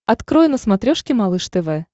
открой на смотрешке малыш тв